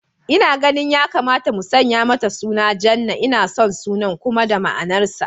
Ina ganin ya kamata mu sanya mata suna Jannah, ina son sunan kuma da ma'anar sa